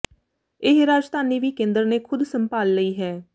ਇਹ ਰਾਜਧਾਨੀ ਵੀ ਕੇਂਦਰ ਨੇ ਖ਼ੁਦ ਸੰਭਾਲ ਲਈ ਹੈ